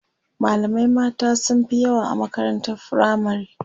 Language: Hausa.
malamai mata sunfi yawa a makarantar firamare